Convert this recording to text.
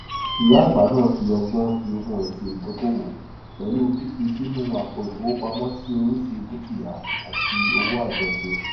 ìyá àgbà náà fi ọgbọn fi ogún rẹ ṣe ìdókòwò pẹlú fífi sínú àpò ìfowópamọsí oríṣi dukia àti òwò àjọṣe